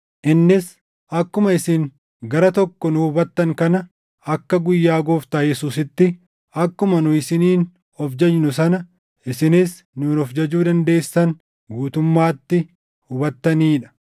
innis akkuma isin gara tokko nu hubattan kana, akka guyyaa Gooftaa Yesuusitti akkuma nu isiniin of jajnu sana isinis nuun of jajuu dandeessan guutummaatti hubattanii dha.